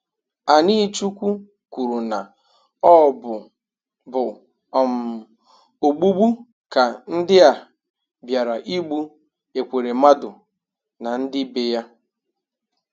Anichukwu kwuru na ọ bụ bụ um ogbụgbụ ka ndị a bịara igbụ Ekweremadu na ndị be ya.